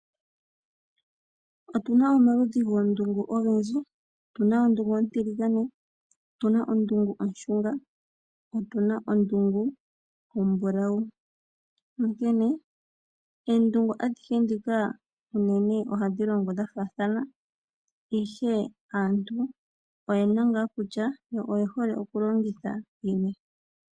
Otuna omaludhi gondungu ogendji, otuna ondungu ontiligane nondungu oshunga. Onkene oondungu adhihe ndhika ohadhilongo dhafaathana ihe aantu oyena ngaa kutya oyehole kulongitha yini.